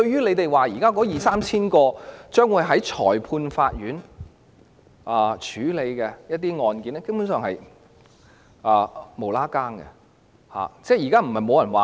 他們說現時那二三千宗將會在裁判法院處理的案件，根本是完全無關。